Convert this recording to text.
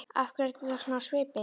Af hverju ertu þá svona á svipinn?